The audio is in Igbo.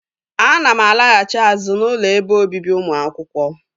Ana m alaghachi azụ n'ụlọ ebe obibi ụmụ akwụkwọ